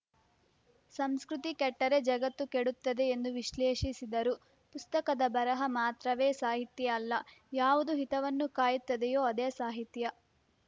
ಸಂಸ್ಕೃತಿ ಕೆಟ್ಟರೆ ಜಗತ್ತು ಕೆಡುತ್ತದೆ ಎಂದು ವಿಶ್ಲೇಷಿಸಿದರು ಪುಸ್ತಕದ ಬರಹ ಮಾತ್ರವೇ ಸಾಹಿತ್ಯ ಅಲ್ಲ ಯಾವುದು ಹಿತವನ್ನು ಕಾಯುತ್ತದೆಯೋ ಅದೇ ಸಾಹಿತ್ಯ